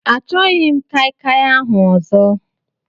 Achọghị m kai kai ahụ ọzọ.